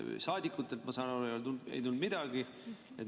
Saadikutelt, ma saan aru, ei tulnud midagi.